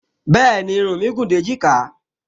Bẹ́ẹ̀ni, irun mí gùn dé èjìká